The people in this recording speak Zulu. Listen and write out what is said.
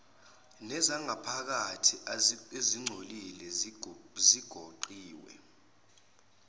nezangaphakathi ezingcolile zigoqiwe